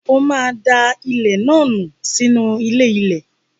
O máa da ilẹ̀ náà nù sínú ilé-ilẹ̀.